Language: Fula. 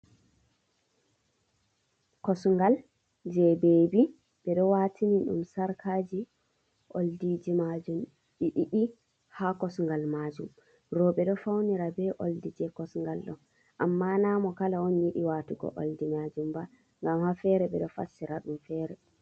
Kosgal je bebi ɓe ɗo watini ɗum sarkaji oldiji majum be ɗi didi ha kosgal majum roɓe do faunira be oldiji kosgal do amma na mo kala on yidi watugo oldi majum ba ngam ha fere ɓe do fassira ɗum fere